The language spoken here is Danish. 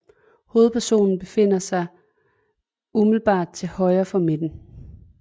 Hovedpersonen befinder sig umiddelbart til højre for midten